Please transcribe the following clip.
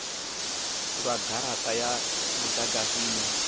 lwa garata ya mudagasi ine